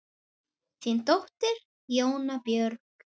Þín dóttir, Jóna Björg.